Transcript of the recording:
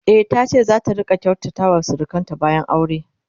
e tace zata rinka kyautata wa surukanta bayan aure